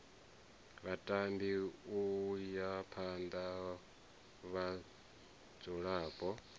vhatambi u ya phana vhadzulapo